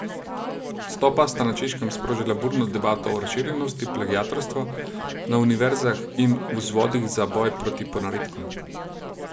Odstopa sta na Češkem sprožila burno debato o razširjenosti plagiatorstva na univerzah in vzvodih za boj proti ponaredkom.